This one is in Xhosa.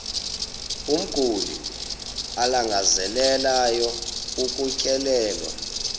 umguli alangazelelayo ukutyelelwa